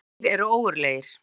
Þeir eru ógurlegir.